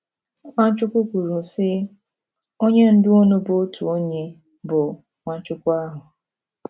Nwachukwu kwuru, sị: “ Onye Ndú unu bụ otu onye, bụ́ Nwachukwu ahụ. ”